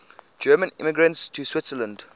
german immigrants to switzerland